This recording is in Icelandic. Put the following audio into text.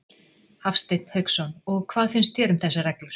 Hafsteinn Hauksson: Og hvað finnst þér um þessar reglur?